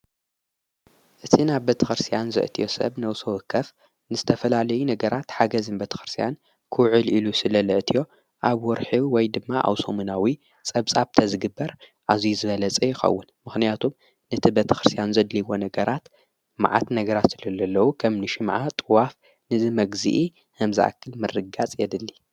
እቲ ናብ በተኸርስያን ዘእትዮ ሰብ ነውሶወ ከፍ ንስ ተፈላልይ ነገራት ሓገዝ ም በተ ኽርስያን ክዑል ኢሉ ስለለእትዮ ኣብ ወርሒቡ ወይ ድማ ኣውሶሙናዊ ጸብጻብ ተዝግበር ኣዙይ ዘበለጸ ይኸውን ምኽንያቱም ነቲ በተክርስያን ዘድልይዎ ነገራት መዓት ነገራት ስለለኣለዉ ኸም ንሽ መዓ ጥዋፍ ንዝመግዚኢ ሕምዛኣክል መርጋጽ የድሊ::